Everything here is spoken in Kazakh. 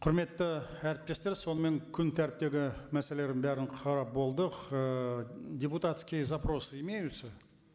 құрметті әріптестер сонымен күн тәртібіндегі мәселелердің бәрін қарап болдық ыыы депутатские запросы имеются